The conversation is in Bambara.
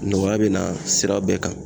Nɔgɔya bɛ na sira bɛɛ kan